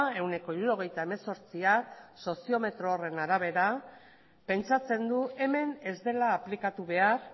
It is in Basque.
ehuneko hirurogeita hemezortzia soziometro horren arabera pentsatzen du hemen ez dela aplikatu behar